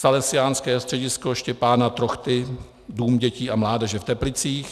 Salesiánské středisko Štěpána Trochty - dům dětí a mládeže v Teplicích;